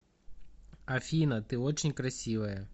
афина ты очень красивая